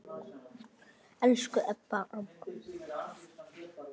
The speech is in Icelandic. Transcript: Elsku Ebba amma.